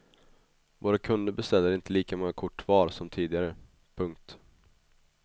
Våra kunder beställer inte lika många kort var som tidigare. punkt